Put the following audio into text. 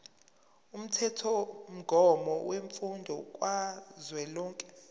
umthethomgomo wemfundo kazwelonke